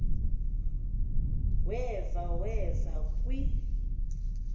weva weva kwi